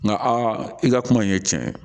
Nka a i ka kuma in ye tiɲɛ ye